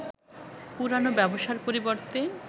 পুরানো ব্যবসার পরিবর্তে